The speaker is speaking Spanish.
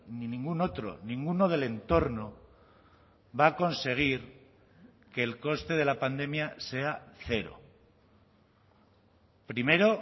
ni ningún otro ninguno del entorno va a conseguir que el coste de la pandemia sea cero primero